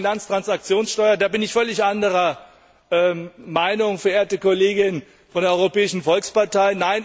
Stichwort Finanztransaktionssteuer Da bin ich völlig anderer Meinung, verehrte Kollegin von der Europäischen Volkspartei!